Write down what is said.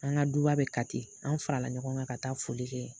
An ka duba bɛ Kati an farala ɲɔgɔn kan ka taa foli kɛ